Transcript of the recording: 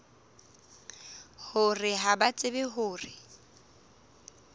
hore ha ba tsebe hore